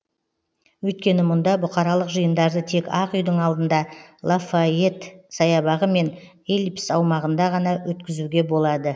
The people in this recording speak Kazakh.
өйткені мұнда бұқаралық жиындарды тек ақ үйдің алдында лафайет саябағы мен эллипс аумағында ғана өткізуге болады